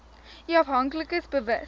u afhanklikes bewus